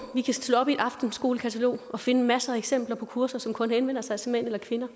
slå op i et aftenskolekatalog og finde masser af eksempler på kurser som kun henvender sig til mænd eller kvinder